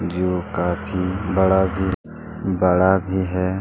जो काफी बड़ा भी बड़ा भी है।